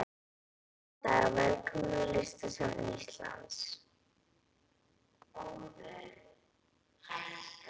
Góðan dag. Velkomin á Listasafn Íslands.